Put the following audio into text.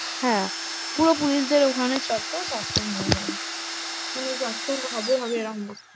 হ্যাঁ, পুরো পুলিশদের ওখানে চত্বর suspend হয়ে যাবে মানে suspend হবে হবে এরম ব্যাপার।